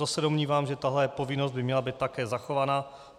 To se domnívám, že tahle povinnost by měla být také zachována.